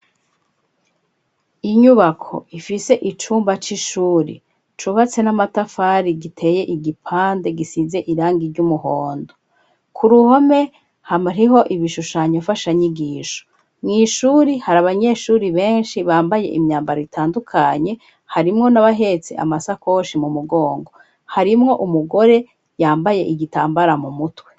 Inyubako ifise icumba c'ishuri cubatse n'amatafari giteye igipande gisize irangi ry'umuhondo ku ruhome hamahiho ibishushanyo fasha nyigisho mw'ishuri hari abanyeshuri benshi bambaye imyambaro itandukanye harimwo n'abahetse amasako shi mu mugongo harimwo umugore yambaye igitambara mu mutwe.